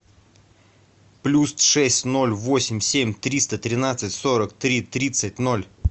плюс шесть ноль восемь семь триста тринадцать сорок три тридцать ноль